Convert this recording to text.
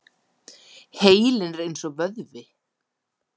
Heilinn er eins og vöðvi.